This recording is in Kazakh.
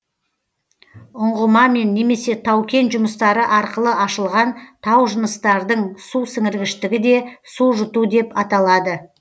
ұңғымамен немесе тау кен жұмыстары арқылы ашылған тау жынысытардың су сіңіргіштігі де су жұту деп аталады